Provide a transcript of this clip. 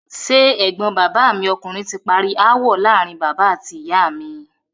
Ṣé ẹ̀gbọ́n bàbá mi ọkùnrin ti parí ááwọ̀ láàárín bàbá àti ìyá mi?